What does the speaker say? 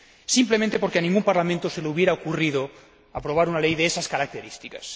Simplemente, porque a ningún Parlamento se le habría ocurrido aprobar una ley de esas características.